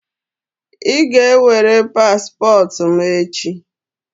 I ga-ewere paspọtụ m echi!